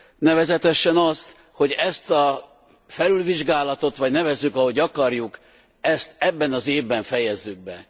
Nevezetesen azt, hogy ezt a felülvizsgálatot, vagy nevezzük, ahogy akarjuk, ezt ebben az évben fejezzük be.